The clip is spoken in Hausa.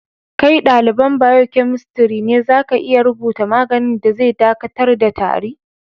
Kai dalibain biokemistri ne, za ka iya rubuta maganin da zai dakatar da tari?